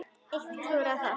Enn eitt klúðrið þar!